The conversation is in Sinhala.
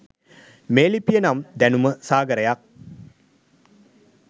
මේ ලිපිය නම් දැනුම සාගරයක්.